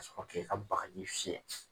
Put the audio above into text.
ka sɔrɔ k'i ka bagaji fiyɛ.